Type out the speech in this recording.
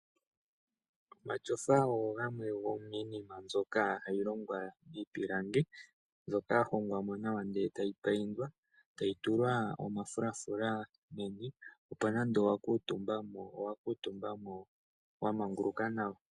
Omashofa ogo gamwe gomiinima mbyoka hayi longwa miipilangi, mbyoka ya hongwa mo nawa ndele tayi paindwa, tayi tulwa omafulafula ogendji opo nande owa kuutumbamo owa kuutumba mo wa manguluka nawa.